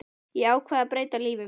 Ég ákvað að breyta lífi mínu.